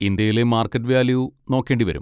ഇന്ത്യയിലെ market value നോക്കേണ്ടി വരും.